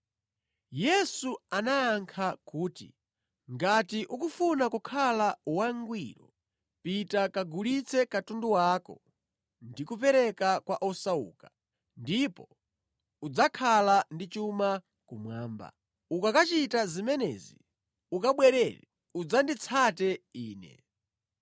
Yesu anayankha kuti, “Ngati ukufuna kukhala wangwiro, pita kagulitse katundu wako ndi kupereka kwa osauka, ndipo udzakhala ndi chuma kumwamba. Ukakachita zimenezi, ukabwere udzanditsate Ine.”